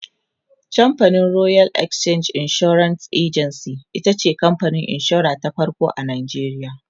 camfanin royal exchange assurance agency itace kamfanin insura ta farko a nigeria